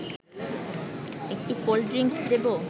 একটু cold drinks দেব